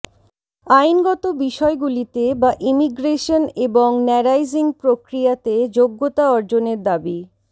আইনগত বিষয়গুলিতে বা ইমিগ্রেশন এবং ন্যারাইজিং প্রক্রিয়াতে যোগ্যতা অর্জনের দাবি